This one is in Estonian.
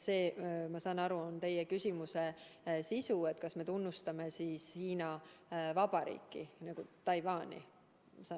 Ma saan aru, et teie küsimuse sisu oli, kas me tunnustame Hiina Vabariiki ja Taiwani?